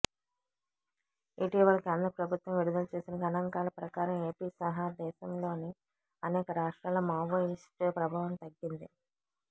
ఇటీవల కేంద్ర ప్రభుత్వం విడుదల చేసిన గణాంకాల ప్రకారం ఏపీసహా దేశంలోని అనేక రాష్ట్రాల్లో మాయివోస్టు ప్రభావం తగ్గింది